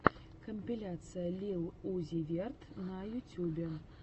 компиляция лил узи верт на ютюбе